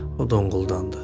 O donquldandı.